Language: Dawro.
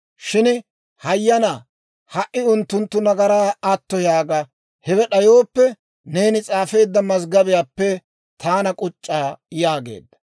Shin hayyanaa, ha"i unttunttu nagaraa atto yaaga; hewe d'ayooppe, neeni s'aafeedda mazggobiyaappe taana k'uc'c'a» yaageedda.